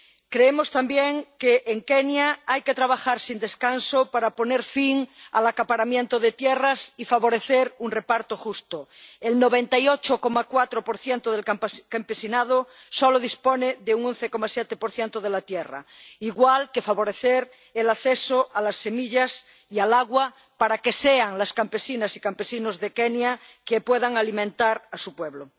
Creemos también que en Kenia hay que trabajar sin descanso para poner fin al acaparamiento de tierras y favorecer un reparto justo ―el 98,4 del campesinado solo dispone de un 11,7 de la tierra—, al igual que favorecer el acceso a las semillas y al agua para que sean las campesinas y los campesinos de Kenia quienes puedan alimentar a su pueblo.